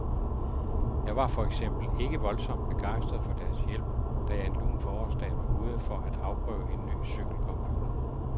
Jeg var for eksempel ikke voldsomt begejstret for deres hjælp, da jeg en lun forårsdag var ude for at afprøve en ny cykelcomputer.